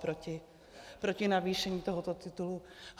Proti navýšení tohoto titulu?